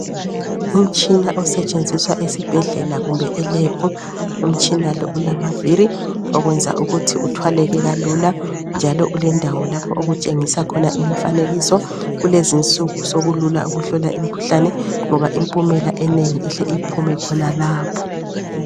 Umtshina osetshenziswa esibhedlela kumbe eLab umtshina lo ulamaviri okwenza ukuthi uthwaleke kalula njalo ulendawo lapho okutshengisa khona imifanekiso kulezinsuku sokulula ukuhlola imikhuhlane ngoba impumela enengi ihle iphume khonalapho.